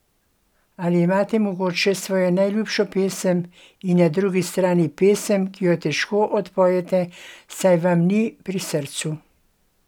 Ali imate mogoče svojo najljubšo pesem in na drugi strani pesem, ki jo težko odpojete, saj vam ni pri srcu?